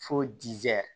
Fo